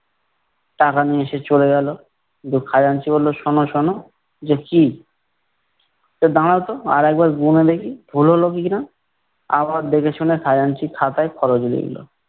টাকা নিয়ে সে চলে গেলো, কিন্তু খাজাঞ্চি বললো, শোনো শোনো। কি? দাঁড়াও তো আর একবার গুনে দেখি, ভুল হলো কিনা। আবার দেখেশুনে খাজাঞ্চি খাতায় খরচ লিখলো।